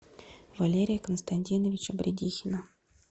валерия константиновича бредихина